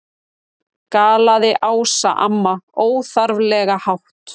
galaði Ása amma, óþarflega hátt.